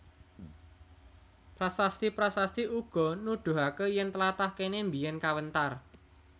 Prasasti prasasti uga nudhuhake yen tlatah kene mbiyen kawentar